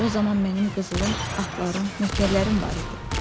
O zaman mənim qızılım, atlarım, nökərlərim var idi.